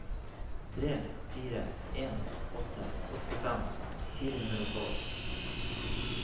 tre fire en åtte åttifem fire hundre og tolv